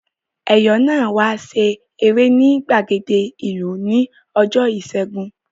Ẹ̀yọ̀ náà wá ṣeré ní ìgbàgede ìlú ní ọjọ́ ìṣẹ́gun